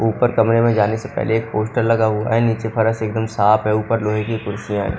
ऊपर कमरे में जाने से पहले एक पोस्टर लगा हुआ है नीचे फर्श एकदम साफ है ऊपर लोहे की कुर्सियां हैं।